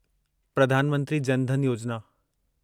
Pradhan Mantri Jan Dhan Yojana